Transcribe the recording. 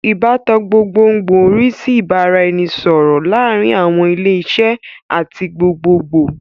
Ìbátan gbogbogbòò ń rí sí ìbára ẹni sọ̀rọ̀ láàárín àwọn ilé iṣẹ́ àti gbogbogbòò